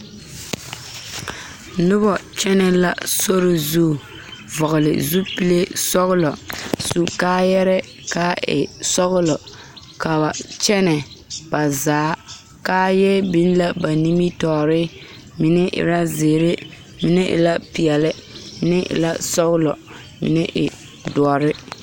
Noba kyɛnɛ la sori zu vɔgele zupile sɔgelɔ su kaayɛrɛɛ kaa e sɔgelɔ ka ba kyɛnɛ ba zaa kaayɛ biŋ la ba nimitɔɔre mine e la zeere mine e la peɛleine e la sɔgelɔ mime e doɔre